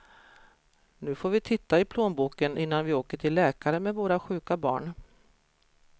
Nu får vi titta i plånboken innan vi åker till läkare med våra sjuka barn.